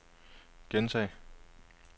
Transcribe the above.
gentag